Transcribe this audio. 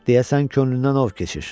Deyəsən könlündən ov keçir.